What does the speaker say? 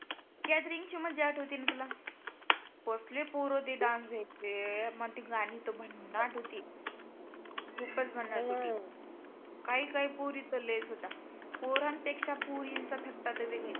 Gathering ची मज्जा आठवती ना तुला? कसले पोरं ते डान्स घ्यायचे मग ती गाणी तर भन्नाट होती. खुपच भन्नाट होती. काही काही पोरी तर लयच होत्या. पोरां पेक्षा पोरींचा ठसका तर वेगळीच.